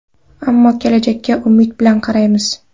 Ammo kelajakka umid bilan qaraymiz.